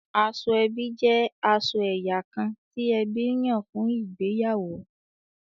Aṣọ ẹbí jẹ aṣọ ẹyà kán ti ẹbí nyan fún ìgbéyàwó